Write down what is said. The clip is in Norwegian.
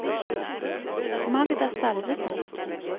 Magda Salvesen